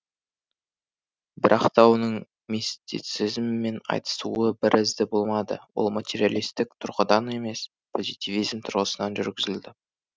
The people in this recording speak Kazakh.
бірақ та оның мистицизммен айтысуы бір ізді болмады ол материалистік тұрғыдан емес позитивизм тұрғысынан жүргізілді